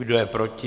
Kdo je proti?